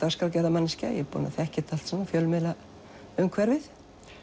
þekki þetta allt fjölmiðlaumhverfið